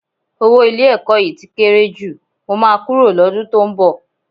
Owó ilé-ẹ̀kọ́ yìí tí kéré jù, mo máa kúrò lọ́dún tó ń bọ̀